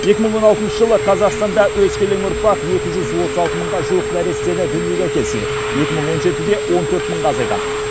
екі мың он алтыншы жылы қазақстанда өскелең ұрпақ екі жүз отыз алты мыңға жуық нәрестені дүниеге әкелсе екі мың он жетіде он төрт мыңға азайған